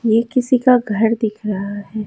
यह किसी का घर दिख रहा है।